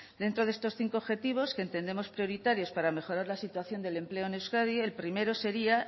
dentro de estos cinco objetivos que entendemos prioritarios para mejorar la situación del empleo en euskadi el primero sería